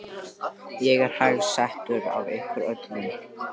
Ég er hæst settur af ykkur öllum!